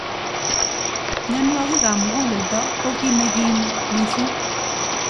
Mnyenwokik ab mukuleldo ko ki nekim missing.